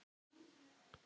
Þar lá hann í því!